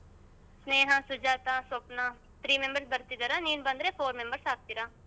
ಸ್ನೇಹ, Sujata, Swapna three members ಬರ್ತಿದಾರಾ ಮತ್ತೆ ನೀನ್ four members ಆಗ್ತೀರಾ.